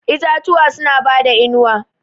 Itatuwa suna bada inuwa.